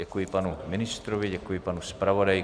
Děkuji panu ministrovi, děkuji panu zpravodaji.